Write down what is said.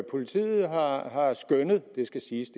politiet har har skønnet det skal siges